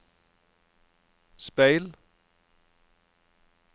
speil